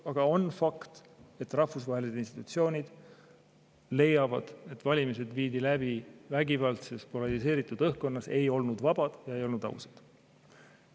Aga on fakt, et rahvusvahelised institutsioonid leiavad, et valimised viidi läbi vägivaldses, polariseeritud õhkkonnas, need ei olnud vabad ja ei olnud ausad.